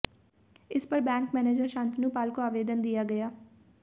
इस पर bank manager Shantanu Pal को आवेदन दिया गया